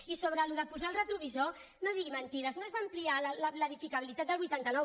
i sobre posar això de posar retrovisor no digui men·tides no es va ampliar l’edificabilitat del vuitanta nou